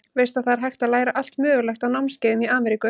Veistu að það er hægt að læra allt mögulegt á námskeiðum í Ameríku.